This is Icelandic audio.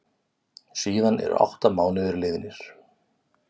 Síðan eru átta mánuðir liðnir.